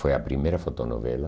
Foi a primeira fotonovela.